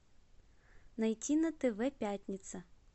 найти на тв пятница